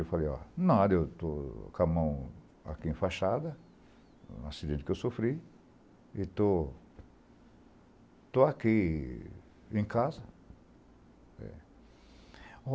Eu falei, ó, nada, eu estou com a mão aqui em fachada, no acidente que eu sofri, e estou, estou aqui em casa, eh